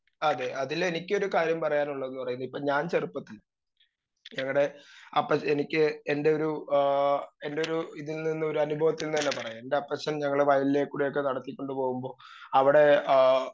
speaker 2 അതെ അതിലെനിക്കൊരു കാര്യം പറയാനുള്ളത് ഞാൻ ചെറുപ്പത്തിൽ എവടെ അപ്പെനിക്ക് എൻ്റെയൊരു ഏ എന്റൊരു ഇതിൽനിന്ന് അനുഭവത്തിൽ നിന്ന് തന്നെ പറയാം എൻ്റെപ്പച്ചൻ ഞങ്ങളെ വയൽലേല് കൂടിയൊക്കെ നടത്തി കൊണ്ട് പോവുമ്പോ അവിടെ ആ